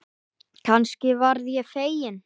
Kannski verð ég fegin.